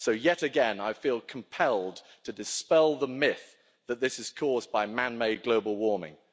So, yet again, I feel compelled to dispel the myth that this is caused by man made global warming.